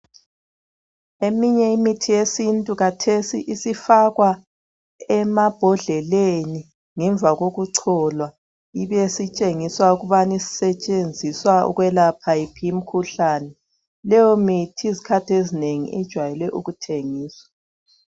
Eminye imithi yesintu kathesi isifakwa emabhodleleni ngemva kokucholwa ibesitshengiswa ukubana isetshenziswa ukwelapha yiphi imikhuhlane leyo mithi izikhathi ezinengi ijwayele ukuthengiswa.